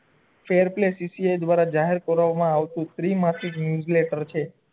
દ્વારા જાહેર કરવામા આવતું nucleator છે